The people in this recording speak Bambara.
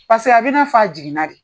Paseke a bɛna f'a jiginna de.